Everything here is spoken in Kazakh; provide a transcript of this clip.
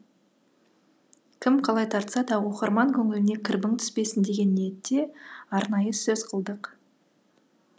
кім қалай тартса да оқырман көңіліне кірбің түспесін деген ниетте арнайы сөз қылдық